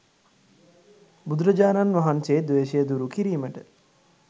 බුදුරජාණන් වහන්සේ ද්වේශය දුරු කිරීමට